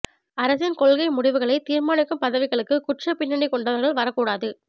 அரசின் கொள்கை முடிவுகளைத் தீா்மானிக்கும் பதவிகளுக்கு குற்றப் பின்னணி கொண்டவா்கள் வரக் கூடாது